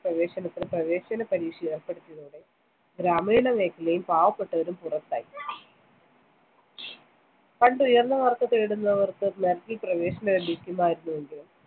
പ്രവേശനത്തിന്‌ പ്രവേശന പരീക്ഷ ഏർപ്പെടുത്തിയതോടെ ഗ്രാമീണ മേഖലയും പാവപ്പെട്ടവരും പുറത്തായി. പണ്ട്‌ ഉയർന്ന മാർക്ക്‌ നേടുന്നവർക്ക്‌ merit ൽ പ്രവേശനം ലഭിക്കുമായിരുന്നുവെങ്കിലും